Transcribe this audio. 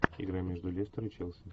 игра между лестер и челси